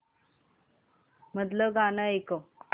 मधलं गाणं ऐकव